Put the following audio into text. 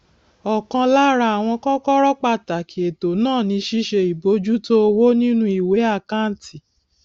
ọkan lára àwọn kọkọrọ pàtàkì ètò náà ni ṣíṣe ìbojútó owó nínú ìwé àkáǹtì